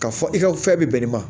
Ka fɔ i ka fɛn bɛ bɛn nin ma